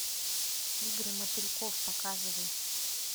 игры мотыльков показывай